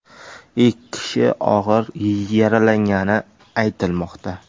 Ikki kishi og‘ir yaralangani aytilmoqda.